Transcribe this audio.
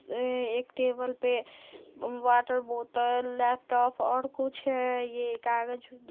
ए एक टेबल पे water bottle laptop और कुछ है ये कागज --